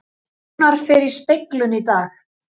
Rúnar fer í speglun í dag